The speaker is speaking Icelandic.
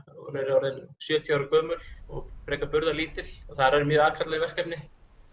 orðin sjötíu ára gömul og frekar þar eru mjög aðkallandi verkefni